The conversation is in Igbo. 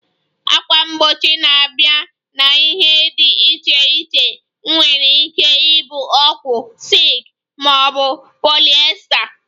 Ákwà mgbochi na-abịa na ihe dị iche iche nwere ike ịbụ owu, silk ma ọ bụ polyester